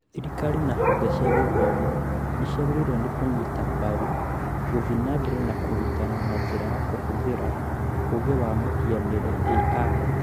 Thirikari na honge cia gĩthomo nĩ ciagĩrĩirwo nĩ kũnyita mbaru gũthiĩ na mbere na kũrutana na njĩra kũhũthĩra ũũgĩ wa mũhianĩre (AI)